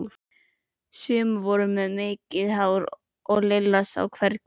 Sum voru með mikið hár en Lilla sá hvergi lús.